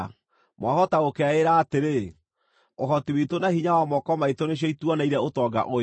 Mwahota gũkeĩĩra atĩrĩ, “Ũhoti witũ na hinya wa moko maitũ nĩcio ituoneire ũtonga ũyũ.”